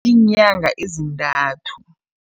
Iinyanga ezintathu.